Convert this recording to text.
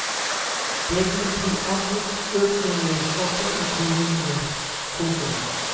Det vil bli avgiftsøkninger også i kommunene. punktum